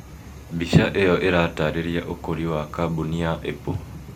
mbica ĩyo ĩratarĩria ũkũri wa kambuni ya Apple